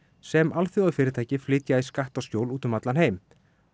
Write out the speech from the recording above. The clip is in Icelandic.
sem alþjóðafyrirtæki flytja í skattaskjól út um allan heim